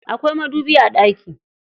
Akwai madubi a ɗaki.